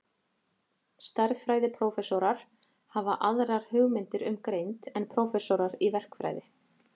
Stærðfræðiprófessorar hafa aðrar hugmyndir um greind en prófessorar í verkfræði.